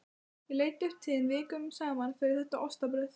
Ég leit upp til þín vikum saman fyrir þetta ostabrauð.